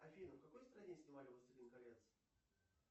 афина в какой стране снимали властелин колец